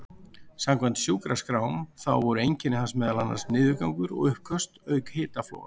Samkvæmt sjúkraskrám þá voru einkenni hans meðal annars niðurgangur og uppköst auk hitafloga.